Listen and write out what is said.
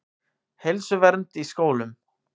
Heilsuvernd í skólum.